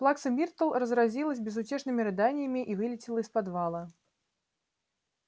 плакса миртл разразилась безутешными рыданиями и вылетела из подвала